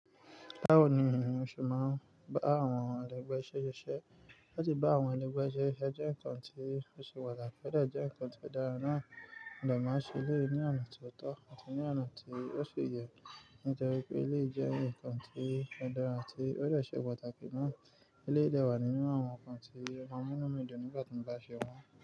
Báwo ni ènìyàn ṣe máa ń bá àwọn ẹlẹgbẹ́ ṣe iṣẹ́? Láti bá àwọn ẹlẹgbẹ́ ṣe iṣẹ́ jẹ́ nǹkan tí ó ṣe pàtàkì, ó dé jẹ́ nǹkan tí ó dára náà, mo dé máa n ṣe eléyìí ní ọ̀nà tí ó tó àti ní ọ̀nà tí ó ṣì yẹ. Nítorí pé eléyìí jẹ́ nǹkan tí ó dára tí ó dẹ̀ ṣe pàtàkì ná, eléyìí dé wà nínú àwọn nǹkan tí ọ́ maa n mú inú mi dùn nígbà tí mo bá ṣe wọ́n.